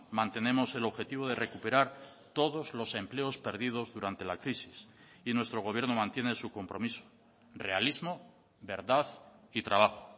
mantenemos el objetivo de recuperar todos los empleos perdidos durante la crisis y nuestro gobierno mantiene su compromiso realismo verdad y trabajo